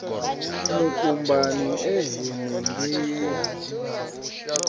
mukumbani e henengei ha tshivhasa